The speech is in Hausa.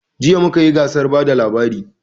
Jiya mu kayi gasar bada labari